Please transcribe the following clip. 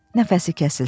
Nəfəsi kəsilsin.